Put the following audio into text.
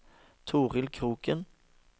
Toril Kroken